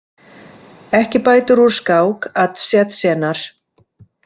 Ekki bætir úr skák að Tsjetsjenar.